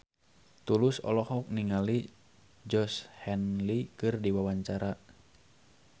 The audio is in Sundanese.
Tulus olohok ningali Georgie Henley keur diwawancara